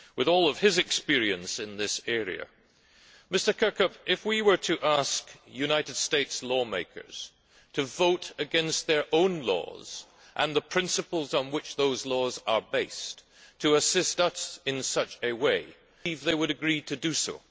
With all his experience in this area, does he believe that, if we were to ask the United States lawmakers to vote against their own laws and the principles on which those laws are based, and to assist us in such a way, they would agree to do so?